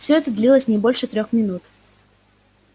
все это длилось не больше трёх минут